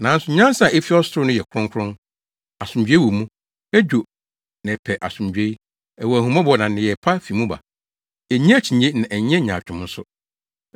Nanso nyansa a efi ɔsoro no yɛ kronkron; asomdwoe wɔ mu, edwo na ɛpɛ asomdwoe; ɛwɔ ahummɔbɔ na nneyɛe pa fi mu ba; ennye akyinnye na ɛnyɛ nyaatwom nso.